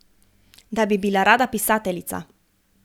Da bi bila rada pisateljica.